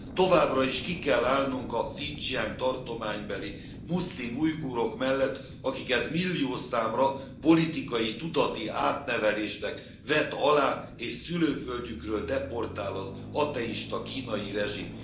Továbbra is ki kell állnunk a Hszincsiang tartománybeli muszlim ujgurok mellett, akiket milliószámra politikai tudati átnevelésnek vet alá és szülőföldjükről deportál az ateista kínai rezsim.